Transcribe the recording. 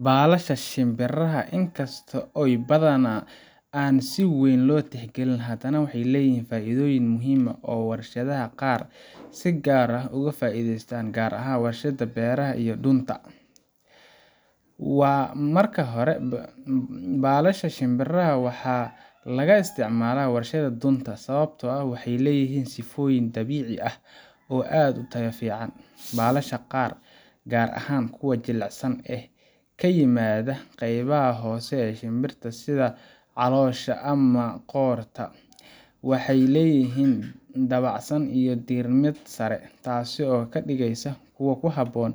Balasha shimbiraha inkasto in kasta oy badhana si weyn lo tixgilinin hadana waxey leyihin faidhoyin muhim ahh oo warshadhoyin qar ahh ugu faidheystan gar ahan warshadha beraha iyo dunta, marka horee balashadha shinbiraha waxa lagaisticmala warshadha dunta sawabtoah waxey leyihin sifoyin dabici ahh, oo ad utaya fican balasha qar gar ahan kuwa jilicsan ee kayimadha qeybaha hose ee shinbirta sidha calosha amah qorta, waxey leyihin dabacsan ama dirmad sare tas oo kadigysa kuwas oo kuhabon